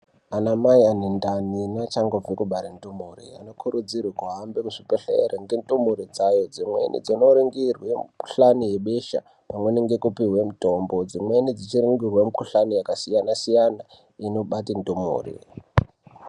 Ana mai ane ndani neachangobve kubara ndumure anokurudzirwa kuhambe kuzvibhedhlera ngendumure dzayo dzimweni dzinoringirwa mukuhlani yebesha pamweni ngekupihwe mitombo dzimweni dzichiningirwa mukuhlani yakasiyana siyana inobate ndumure.